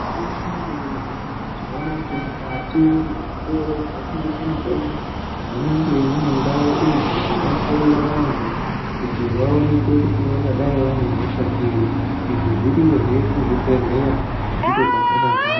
Gwinyiso remene-mene, tinoona kuti mukati mwezvitoro zvinotengeswe mitombo, munenge mune ndau idzo dzinohloyiwa vantu kuti vaonekwe kuti vangadai vane hosha iri. Izvi zviriyozve kuzvibhedhleya, ndiko kwazvakazara.